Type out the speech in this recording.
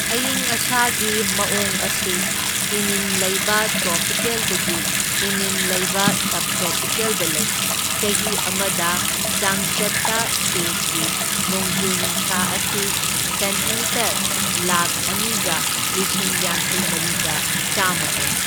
ꯑꯌꯤꯡ ꯑꯁꯥꯒꯤ ꯃꯥꯑꯣꯡ ꯑꯁꯤ ꯏꯅꯤꯟ ꯂꯩꯕ ꯇ꯭ꯔꯣꯄꯤꯀꯦꯜꯗꯒꯤ ꯏꯅꯤꯟ ꯂꯩꯕ ꯁꯕ ꯇ꯭ꯔꯣꯄꯤꯀꯦꯜꯗ ꯂꯩ, ꯆꯍꯤ ꯑꯃꯗ ꯆꯥꯡꯆꯠꯇ ꯁ꯭ꯇꯦꯠꯀꯤ ꯅꯣꯡꯖꯨ ꯅꯨꯡꯁꯥ ꯑꯁꯤ ꯁꯦꯟꯇꯤꯃꯤꯇꯔ ꯂꯥꯛꯈ ꯑꯅꯤꯒ ꯂꯤꯁꯤꯡ ꯌꯥꯡꯈꯩꯃꯔꯤꯒ ꯆꯥꯝꯃ ꯑꯣꯏ꯫